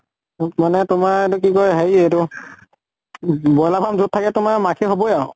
মোক মানে তোমাৰ এইটো কি কয় হেৰি এইটো ব্ৰইলাৰ farm যʼত থাকে তোমাৰ মাখি হবই আৰু।